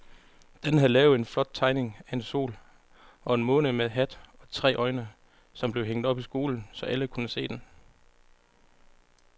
Dan havde lavet en flot tegning af en sol og en måne med hat og tre øjne, som blev hængt op i skolen, så alle kunne se den.